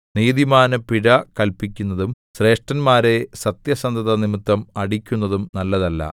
നീതിമാന് പിഴ കല്പിക്കുന്നതും ശ്രേഷ്ഠന്മാരെ സത്യസന്ധത നിമിത്തം അടിക്കുന്നതും നല്ലതല്ല